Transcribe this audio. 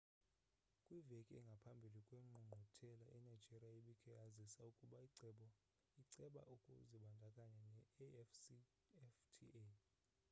kwiveki engaphambi kwengqungquthela inigeria ibikhe yazisa ukuba iceba ukuzibandakanya ne-afcfta